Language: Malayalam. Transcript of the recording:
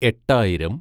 എട്ടായിരം